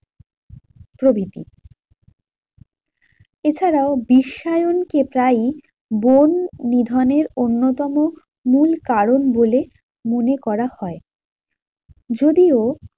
প্রভিতি। এছাড়াও বিশ্বায়ন তাই বন নিধনের অন্যতম মূল কারণ বলে মনে করা হয়। যদিও